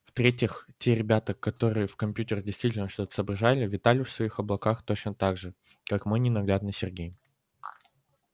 в-третьих те ребята которые в компьютерах действительно что-то соображали витали в своих облаках точно так же как и мой ненаглядный сергей